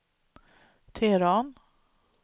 Teheran